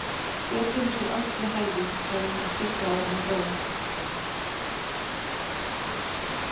Hver finnur sér ást við hæfi, sagði hann stuttu áður en hann dó.